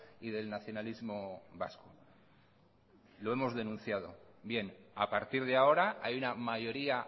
y del nacionalismo vasco lo hemos denunciado bien a partir de ahora hay una mayoría